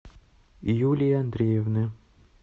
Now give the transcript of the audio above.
юлии андреевны